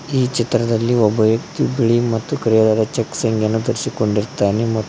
ಈ ಚಿತ್ರದಲ್ಲಿ ಒಬ್ಬ ವ್ಯಕ್ತಿ ಬಿಳಿ ಮತ್ತು ಕರೆಯಲದಾದ ಚೆಕ್ಕ್ಸ್ ಅಂಗಿಯನ್ನು ಧರಿಸಿಕೊಂಡಿರುತ್ತಾನೆ ಮತ್ತು --